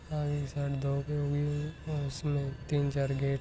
और है और उसमें तीन चार गेट--